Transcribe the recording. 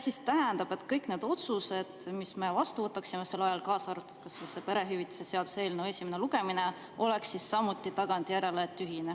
Kas see tähendab, et kõik need otsused, mis me vastu võtaksime sel ajal, kaasa arvatud see perehüvitiste seaduse eelnõu esimene lugemine, oleksid samuti tagantjärele tühised?